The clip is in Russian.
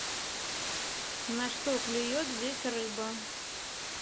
на что клюет здесь рыба